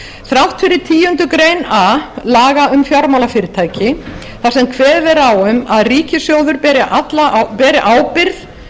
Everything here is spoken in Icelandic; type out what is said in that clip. þrátt fyrir tíundu grein a laga um fjármálafyrirtæki þar sem kveðið er á um að ríkissjóður beri ábyrgð